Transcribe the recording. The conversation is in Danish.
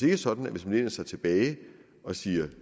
ikke sådan at hvis man læner sig tilbage og siger at